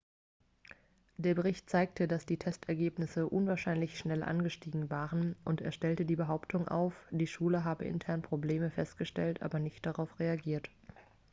der bericht zeigte dass die testergebnisse unwahrscheinlich schnell angestiegen waren und er stellte die behauptung auf die schule habe intern probleme festgestellt aber nicht darauf reagiert